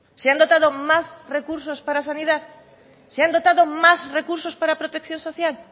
se han dotado más recursos para sanidad se han dotado más recursos para protección social